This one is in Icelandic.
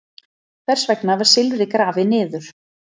Hvers vegna var silfrið grafið niður?